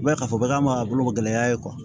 U b'a ye k'a fɔ k'an b'a bolo gɛlɛya ye